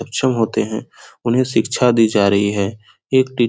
सक्षम होते है उन्हें शिक्षा दी जा रही है एक टीचर --